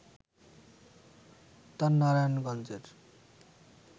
তার নারায়ণগঞ্জের